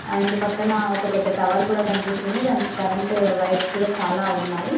And పక్కన ఒక పెద్ద టవర్ కూడా కనిపిస్తుంది దానికి కరెంటు వైర్స్ కూడా చాలా ఉన్నాయి .